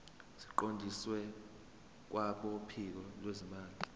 siqondiswe kwabophiko lwezimali